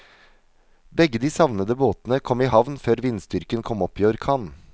Begge de savnede båtene kom i havn før vindstyrken kom opp i orkan.